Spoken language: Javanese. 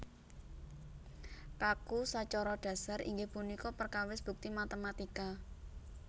Kaku sacara dhasar inggih punika perkawis bukti matématika